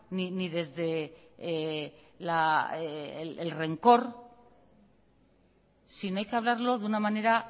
ni desde la el rencor sino hay que hablarlo de una manera